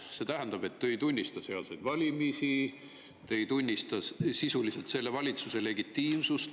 See tähendab, et te ei tunnista sealseid valimisi, te ei tunnista sisuliselt selle valitsuse legitiimsust.